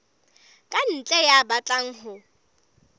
ka ntle ya batlang ho